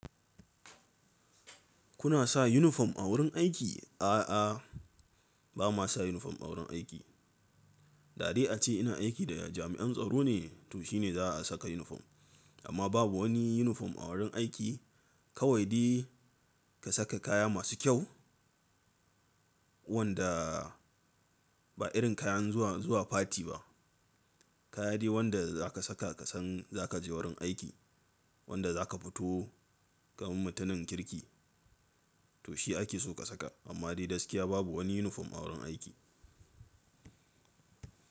Kuna sa yunifom a wurin aiki? A'a, ba ma sa yunifom a wurin aiki. Dari a ce ina aiki da jami'an tsaro ne, to shi ne za a saka yunifom. Amma babu wani yunifom a wurin aiki. Kawai dai ka saka kaya masu kyau wanda ba irin kayan zuwa, zuwa fati ba. Kaya dai wanda za ka saka ka san za ka je wurin aiki, wanda za ka fito gaban mutanen kirki, to shi ake so ka saka. Amma dai gaskiya babu wani yunifom a wurin aiki.